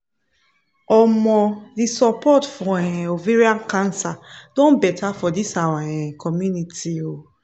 omo the support for um ovarian cancer don better for this our um community um